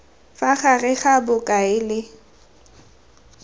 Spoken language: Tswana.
fa gare ga bokao le